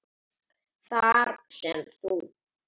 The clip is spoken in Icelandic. Þar sem þú